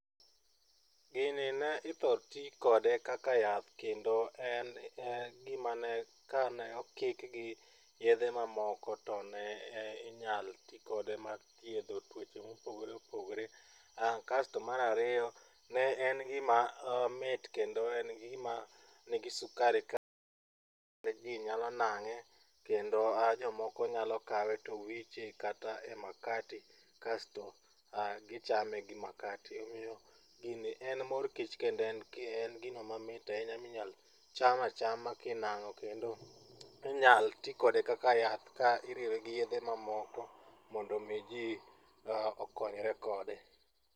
Gini ne ithoro ti kode kaka yath kendo en gima ne kane okiki gi yedhe mamoko to ne inyalo ti kode mar thiedho tuoche mopogore opogore. Kasto mar ariyo ne en gima mit kendo en gima nigi sukari maji nyalo nang'e kendo jomoko nyalo kawe to wiche kata e makati kasto gichame gi makate omiyo gini en mor kich kendo en gino mamit ahinya ma inyalo cham achama kinang'o kendo inyal ti kode kaka yath ka iriwe gi yedhe mamoko mondo mi ji okonyre kode.